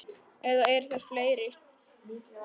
Eða eru þær fleiri?